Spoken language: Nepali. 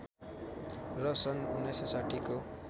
र सन् १९६० को